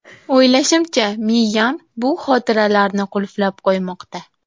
O‘ylashimcha, miyam bu xotiralarni qulflab qo‘ymoqda.